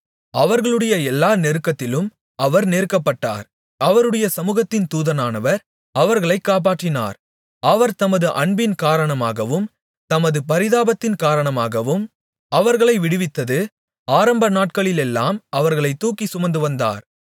அவர்களுடைய எல்லா நெருக்கத்திலும் அவர் நெருக்கப்பட்டார் அவருடைய சமுகத்தின் தூதனானவர் அவர்களை காப்பாற்றினார் அவர் தமது அன்பின் காரணமாகவும் தமது பரிதாபத்தின் காரணமாகவும் அவர்களை விடுவித்தது ஆரம்ப நாட்களிலெல்லாம் அவர்களைத் தூக்கிச் சுமந்துவந்தார்